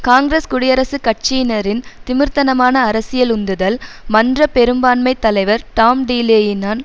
காங்கிரஸ் குடியரசுக் கட்சியினரின் திமிர்த்தனமான அரசியல் உந்துதல் மன்றப் பெரும்பான்மை தலைவர் டாம் டீலேயினன்